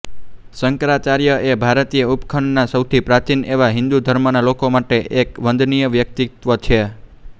શંકરાચાર્ય એ ભારતીય ઉપખંડના સૌથી પ્રાચીન એવા હિંદુ ધર્મના લોકો માટે એક વંદનીય વ્યક્તિત્વ છે